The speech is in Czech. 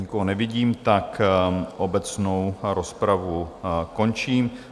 Nikoho nevidím, tak obecnou rozpravu končím.